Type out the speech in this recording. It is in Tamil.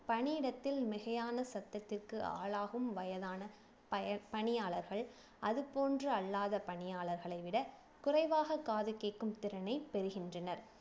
பணியிடத்தில் மிகையான சத்தத்திற்கு ஆளாகும் வயதான பய பணியாளர்கள் அது போன்று அல்லாத பணியாளர்களை விட குறைவாக காது கேக்கும் திறனை பெறுகின்றனர்